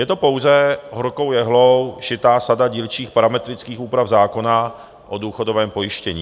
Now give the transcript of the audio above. Je to pouze horkou jehlou šitá sada dílčích parametrických úprav zákona o důchodovém pojištění.